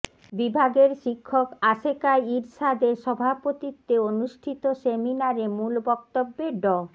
বিভাগের শিক্ষক আশেকা ইরসাদের সভাপতিত্বে অনুষ্ঠিত সেমিনারে মূল বক্তব্যে ড